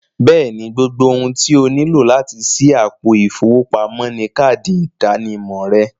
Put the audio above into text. Bẹ́ẹ̀ni, gbogbo òhun tí ọ níló láti ṣí àpò ifowópamọ̀ ni káàdì ìdànìmọ̀ rẹ̀